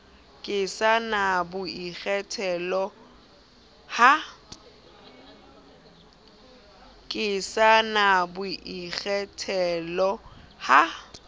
ke sa na boikgethelo ha